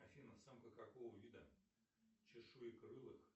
афина самка какого вида чешуекрылых